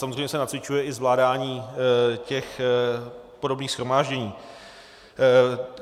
Samozřejmě se nacvičuje i zvládání těch podobných shromáždění.